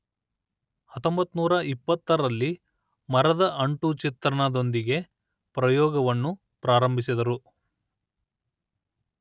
ಹತ್ತೊಂಬತ್ತು ನೂರ ಇಪ್ಪತ್ತರಲ್ಲಿ ಮರದ ಅಂಟು ಚಿತ್ರಣದೊಂದಿಗೆ ಪ್ರಯೋಗವನ್ನು ಪ್ರಾರಂಭಿಸಿದರು